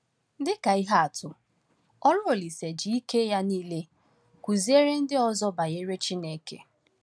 Dịka ihe atụ, ọrụ Olise ji ike ya niile kụziere ndị ọzọ banyere Chineke.